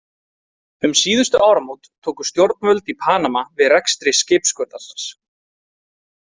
Um síðustu áramót tóku stjórnvöld í Panama við rekstri skipaskurðarins.